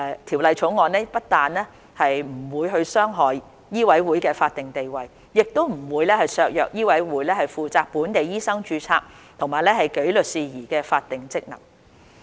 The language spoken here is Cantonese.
《條例草案》不但不會傷害醫委會的法定地位，亦不會削弱醫委會負責本地醫生註冊和紀律事宜的法定職能。